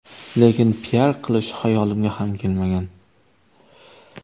Lekin piar qilish xayolimga ham kelmagan.